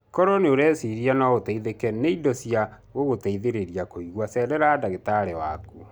Koro nĩ ũreciria no ũteithĩke nĩ indo cia gũgũteithĩrĩria kũigua cerera dagĩtarĩ waku.